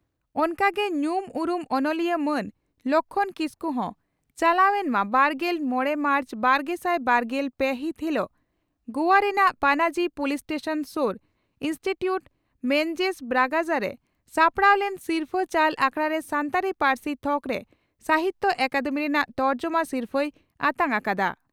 ᱚᱱᱠᱟ ᱜᱮ ᱧᱩᱢ ᱩᱨᱩᱢ ᱚᱱᱚᱞᱤᱭᱟᱹ ᱢᱟᱱ ᱞᱚᱠᱷᱢᱚᱬ ᱠᱤᱥᱠᱩ ᱦᱚᱸ ᱪᱟᱞᱟᱣᱮᱱ ᱢᱟᱹᱵᱟᱨᱜᱮᱞ ᱢᱚᱲᱮ ᱢᱟᱨᱪ ᱵᱟᱨᱜᱮᱥᱟᱭ ᱵᱟᱨᱜᱮᱞ ᱯᱮ ᱦᱤᱛ ᱦᱤᱞᱚᱜ ᱜᱳᱣᱟ ᱨᱮᱱᱟᱱᱜ ᱯᱟᱱᱟᱡᱤ ᱯᱳᱞᱤᱥ ᱥᱴᱮᱥᱚᱱ ᱥᱩᱨ ᱤᱱᱥᱴᱩᱪᱩᱴ ᱢᱮᱱᱡᱮᱥ ᱵᱨᱟᱜᱟᱡᱟ ᱨᱮ ᱥᱟᱯᱲᱟᱣ ᱞᱮᱱ ᱥᱤᱨᱯᱷᱟᱹ ᱪᱟᱞ ᱟᱠᱷᱲᱟᱨᱮ ᱥᱟᱱᱛᱟᱲᱤ ᱯᱟᱹᱨᱥᱤ ᱛᱷᱚᱠᱨᱮ ᱥᱟᱦᱤᱛᱭᱚ ᱟᱠᱟᱫᱮᱢᱤ ᱨᱮᱱᱟᱜ ᱛᱚᱨᱡᱚᱢᱟ ᱥᱤᱨᱯᱷᱟᱹᱭ ᱟᱛᱟᱝ ᱟᱠᱟᱫᱼᱟ ᱾